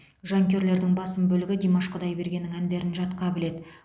жанкүйерлердің басым бөлігі димаш құдайбергеннің әндерін жатқа біледі